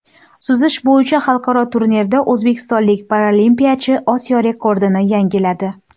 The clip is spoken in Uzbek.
Suzish bo‘yicha xalqaro turnirda o‘zbekistonlik paralimpiyachi Osiyo rekordini yangiladi.